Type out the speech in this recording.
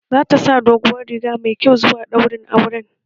Zata sa doguwar riga mai kyau zuwa daurin auren